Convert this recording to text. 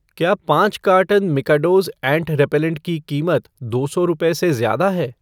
क्या पाँच carton Mikados ant repellent की कीमत दो सौ रुपए से ज्यादा है?